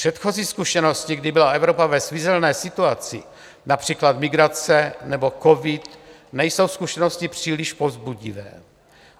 Předchozí zkušenosti, kdy byla Evropa ve svízelné situaci, například migrace nebo covid, nejsou zkušenosti příliš povzbudivé.